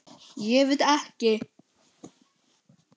Ég veit ekki